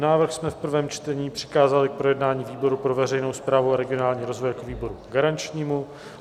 Návrh jsme v prvém čtení přikázali k projednání výboru pro veřejnou správu a regionální rozvoj jako výboru garančnímu.